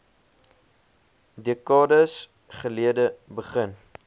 dekades gelede begin